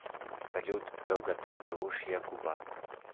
салют долгота белушья губа